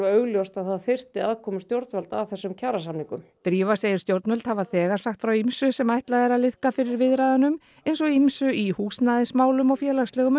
augljóst að það þyrfti aðkomu stjórnvalda að þessum kjarasamningum drífa segir stjórnvöld hafa þegar sagt frá ýmsu sem ætlað er að liðka fyrir viðræðunum eins og ýmsu í húsnæðismálum og félagslegum